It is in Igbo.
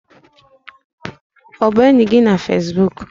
Ọ bụ enyi gị na Fesbuk?